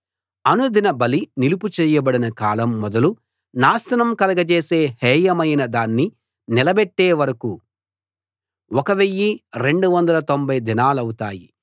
అనుదిన బలి నిలుపు చేయబడిన కాలం మొదలు నాశనం కలగజేసే హేయమైన దాన్ని నిలబెట్టే వరకూ 1 290 దినాలౌతాయి